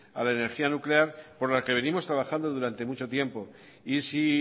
a la energía nuclear por la que venimos trabajando durante mucho tiempo y si